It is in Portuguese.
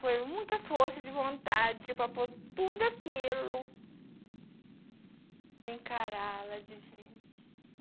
Foi muita força de vontade para por tudo aquilo e encará-la de frente.